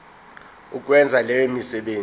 ukwenza leyo misebenzi